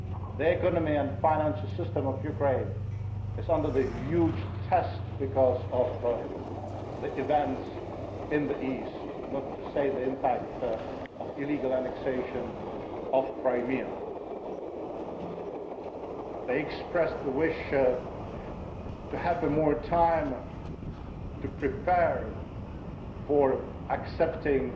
The economy and financial system of Ukraine face a huge test because of the events in the east, not to mention the impact of the illegal annexation of Crimea. They expressed the wish to have more time to prepare for accepting